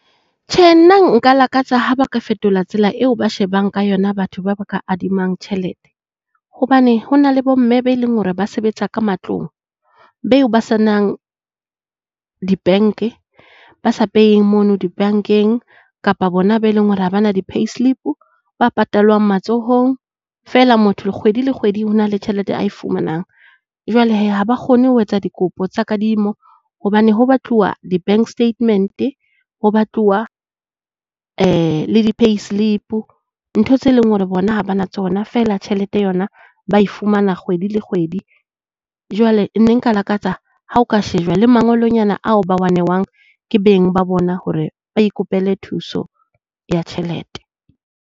Tjhe nna nka lakatsa ha ba ka fetola tsela eo ba shebang ka yona batho ba ba ka adimang tjhelete. Hobane hona le bo mme be leng hore ba sebetsa ka matlong beo ba se nang di-bank-e, ba sa peying mono di-bank-eng kapa bona ba eleng hore ha bana di-payslip-o ba patalwang matsohong feela motho kgwedi le kgwedi ho na le tjhelete a e fumanang. Jwale hee ha ba kgone ho etsa dikopo tsa kadimo hobane ho batluwa di-bank statement-e, ho batluwa le di-payslip-o. Ntho tse leng hore bona ha ba na tsona feela tjhelete yona ba e fumana kgwedi le kgwedi. Jwale ne nka lakatsa ha ho ka shejwa le mangolonyana ao ba wa newang ke beng ba bona hore ba ikopele thuso ya tjhelete.